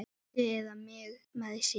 Lindu eða mig með sér.